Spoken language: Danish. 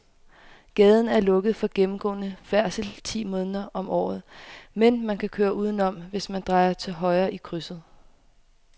Gaden er lukket for gennemgående færdsel ti måneder om året, men man kan køre udenom, hvis man drejer til højre i krydset.